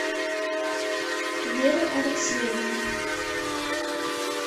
вере алексеевне